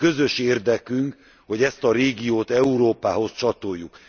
Közös érdekünk, hogy ezt a régiót Európához csatoljuk.